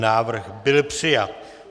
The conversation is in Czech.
Návrh byl přijat.